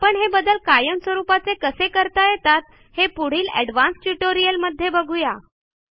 आपण हे बदल कायम स्वरूपाचे कसे करता येतात हे पुढील एडवान्स्ड ट्युटोरियल मध्ये बघू या